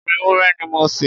ẹran ewúrẹ́ ni mo se.